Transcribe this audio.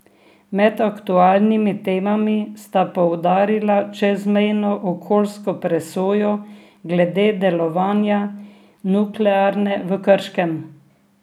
Med aktualnimi temami sta poudarila čezmejno okoljsko presojo glede delovanja nuklearke v Krškem.